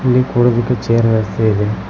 ಇಲ್ಲಿ ಕೂರದಕ್ಕೆ ಛೇರ್ ವ್ಯವಸ್ಥೆ ಇದೆ.